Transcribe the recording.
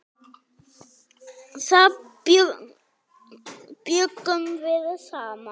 Þar bjuggum við saman.